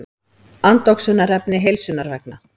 Andoxunarefni heilsunnar vegna.